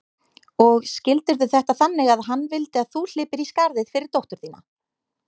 Og skildirðu þetta þannig að hann vildi að þú hlypir í skarðið fyrir dóttur þína?